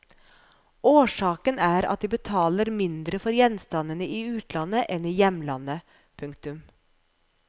Årsaken er at de betaler mindre for gjenstandene i utlandet enn i hjemlandet. punktum